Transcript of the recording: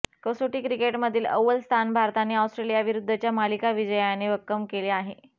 कसोटी क्रिकेटमधील अव्वल स्थान भारताने ऑस्ट्रेलियाविरुद्धच्या मालिका विजयाने भक्कम केले आहे